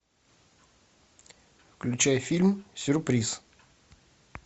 включай фильм сюрприз